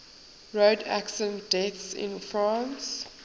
road accident deaths in france